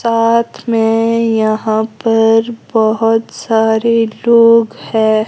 साथ में यहां पर बहुत सारे लोग हैं।